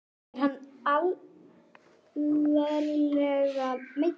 Er hann alvarlega meiddur?